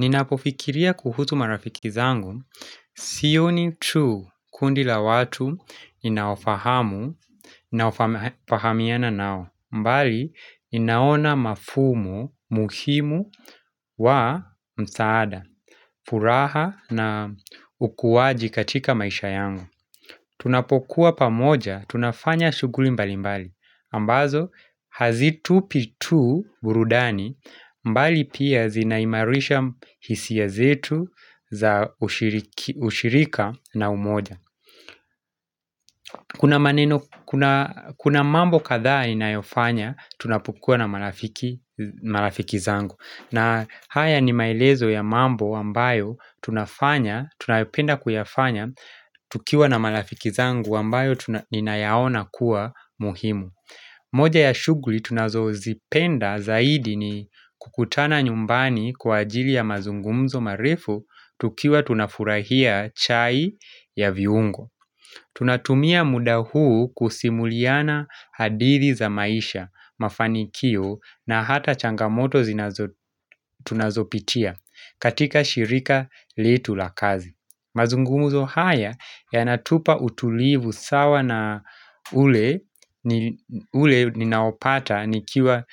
Inapofikiria kuhusu marafiki zangu, sioni tu kundi la watu ninaofahamu ninaofahamiana nao bali ninaona mafumu muhimu wa msaada, furaha na ukuaji katika maisha yangu. Tunapokuwa pamoja, tunafanya shughuli mbali mbali ambazo hazitupi tu burudani bali pia zinaimarisha hisia zetu za ushirika na umoja. Kuna mambo kadhaa ninayofanya tunapokua na marafiki zangu. Na haya ni maelezo ya mambo ambayo tunapenda kuyafanya tukiwa na marafiki zangu ambayo ninayaona kuwa muhimu. Moja ya shughuli tunazozipenda zaidi ni kukutana nyumbani kwa ajili ya mazungumzo marefu tukiwa tunafurahia chai ya viungo. Tunatumia muda huu kusimuliana hadithi za maisha, mafanikio na hata changamoto tunazopitia katika shirika letu la kazi. Mazungumzo haya yanatupa utulivu sawa na ule ninaopata nikiwa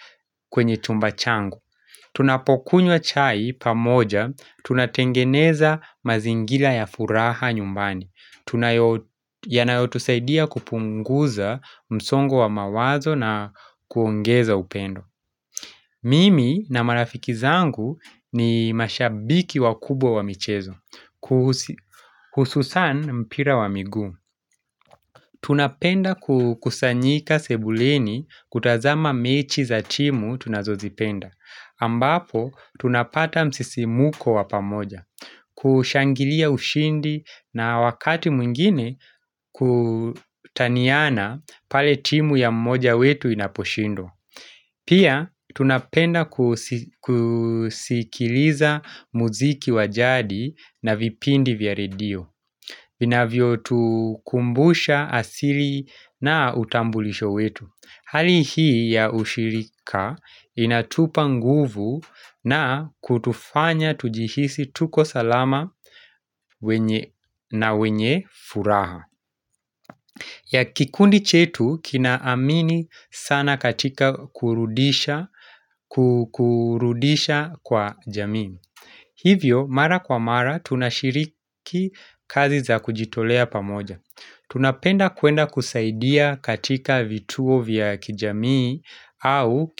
kwenye chumba changu. Tunapokunywa chai pamoja, tunatengeneza mazingira ya furaha nyumbani. Yanayotusaidia kupunguza msongo wa mawazo na kuongeza upendo. Mimi na marafiki zangu ni mashabiki wakubwa wa michezo. Hususan mpira wa miguu. Tunapenda kukusanyika sebuleni kutazama mechi za timu tunazozipenda ambapo tunapata msisimuko wa pamoja. Kushangilia ushindi na wakati mwingine kutaniana pale timu ya mmoja wetu inaposhindwa. Pia tunapenda kusikiliza muziki wa jadi na vipindi vya redio vinavyotukumbusha asili na utambulisho wetu. Hali hii ya ushirika inatupa nguvu na kutufanya tujihisi tuko salama na wenye furaha. Ya kikundi chetu kinaamini sana katika kurudisha kwa jamii. Hivyo mara kwa mara tunashiriki kazi za kujitolea pamoja. Tunapenda kwenda kusaidia katika vituo vya kijamii au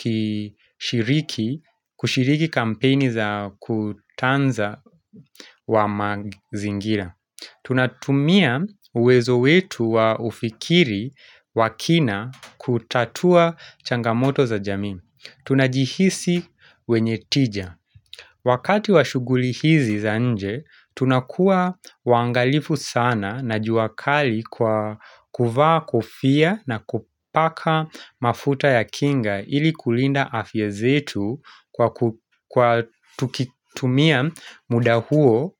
kushiriki kampeni za kutunza wa mazingira. Tunatumia uwezo wetu wa ufikiri wa kina kutatua changamoto za jamii. Tunajihisi wenye tija. Wakati wa shughuli hizi za nje, tunakuwa waangalifu sana na jua kali kwa kuvaa kofia na kupaka mafuta ya kinga ili kulinda afya zetu kwa tukitumia mudahuo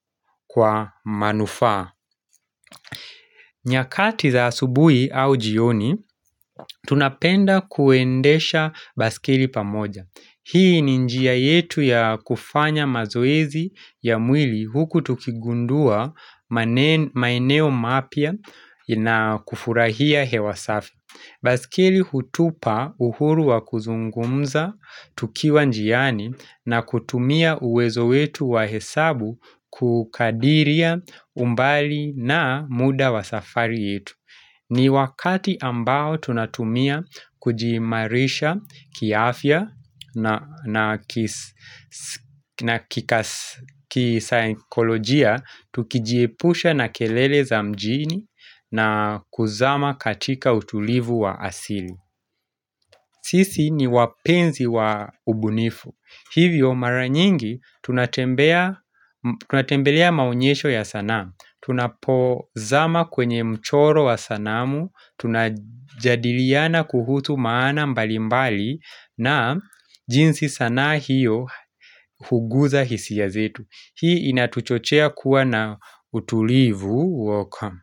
kwa manufaa. Nyakati za asubuhi au jioni, tunapenda kuendesha baisikeli pamoja. Hii ni njia yetu ya kufanya mazoezi ya mwili huku tukigundua maeneo mapya na kufurahia hewa safi. Baisikeli hutupa uhuru wa kuzungumza, tukiwa njiani na kutumia uwezo wetu wa hesabu kukadiria umbali na muda wa safari yetu. Ni wakati ambao tunatumia kujiimarisha kiafya na kisaikolojia tukijiepusha na kelele za mjini na kuzama katika utulivu wa asili sisi ni wapenzi wa ubunifu. Hivyo mara nyingi tunatembelea maonyesho ya sanamu. Tunapozama kwenye mchoro wa sanamu, tunajadiliana kuhusu maana mbali mbali na jinsi sanaa hiyo huguza hisia zetu. Hii inatuchochea kuwa na utulivu. Woka.